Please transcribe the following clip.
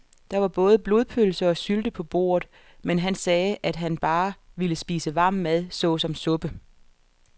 Der var både blodpølse og sylte på bordet, men han sagde, at han bare ville spise varm mad såsom suppe.